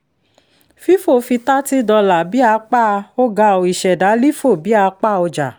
fífò fi thirty dollar bí apá um ìṣẹ̀dá lífò bí apá ọjà